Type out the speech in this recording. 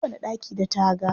Kowane ɗaki da taga.